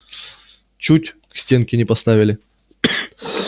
чуть к стенке не поставили